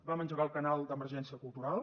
vam engegar el canal d’emergència cultural